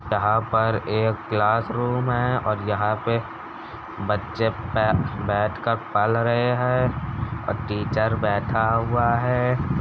यहाँ पर एक क्लासरूम है और यहाँ पे बच्चे बैठ कर पढ़ रहे है और टीचर बैठा हुआ है।